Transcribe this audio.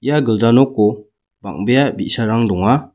ia gilja noko bang·bea bi·sarang donga.